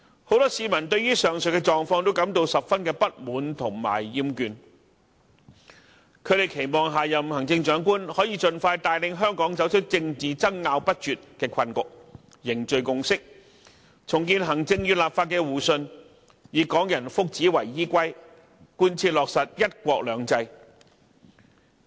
很多市民對於上述狀況均感到十分不滿和厭倦，他們期望下任行政長官能盡快帶領香港走出政治爭拗不絕的困局，凝聚共識，重建行政與立法的互信，以港人福祉為依歸，貫徹落實"一國兩制"。